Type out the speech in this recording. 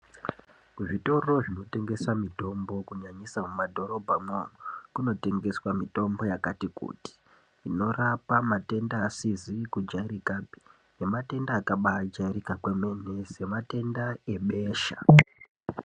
Kuzvitoro zvinotengesa mitombo, kunyanyisa mumadhorobhamwo, kunotengeswa mitombo yakati kuti inorapa matenda asizi kujairikapi nematenda akajairika kwemene, sematenda ebesha.